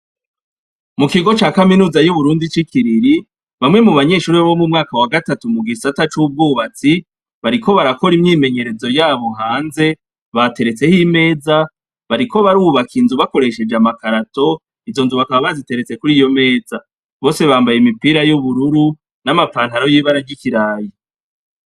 Mu kigo cya kaminuza y'uburundi cikiriri bamwe mu banyeshuri bo mu mwaka wa gatatu mu gisata c'ubwubatsi, bariko barakor' imyimenyerezo yabo hanze baterets' imeza bariko barubak' inzu yigorofa bakoreshej' amakarato, bose bambay' imipira y'ubururu n'amapantaro y'ibara ya kaki, iruhande har' umukobw' arikwitegerez' uko babikora, ikigo gikikujwe n' ibiti vyinshi, inyuma yabo har' abanyeshure bicaye biterera inkuru.